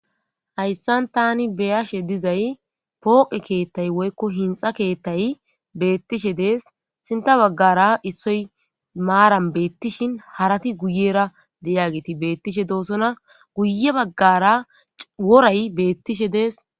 Haysan tan be'ashe dizay poqe kethay woyko hinxa kethay betishe dees sinta bagara isoy maran betishin harati guyera d'iyageti betishe dosona guye bagara woray betishe dees .